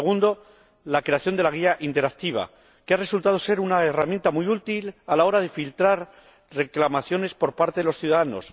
segundo, la creación de la guía interactiva, que ha resultado ser una herramienta muy útil a la hora de filtrar reclamaciones por parte de los ciudadanos